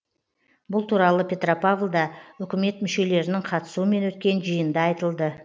бұл туралы петропавлда үкімет мүшелерінің қатысуымен өткен жиында айтылды